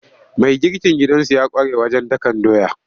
Mai girkin gidansu ya ƙware wajen dakan doya.